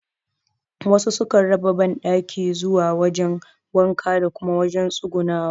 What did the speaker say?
Wasu su kan raba banɗaki zuwa wajen wanka da kuma wajen tsugunawa